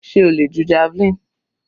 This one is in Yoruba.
Sé o le ju javelin?